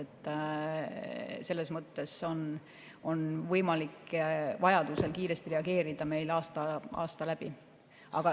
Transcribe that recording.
Selles mõttes on võimalik vajadusel kiiresti reageerida meil aasta läbi.